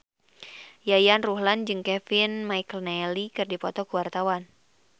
Yayan Ruhlan jeung Kevin McNally keur dipoto ku wartawan